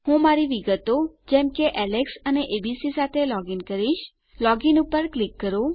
હું મારી વિગતો જેમ કે એલેક્સ અને એબીસી સાથે લોગીન કરીશ લોગ ઇન પર ક્લિક કરો